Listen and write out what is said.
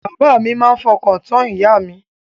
Bàbá mi máa fọkàntán ìyà mi.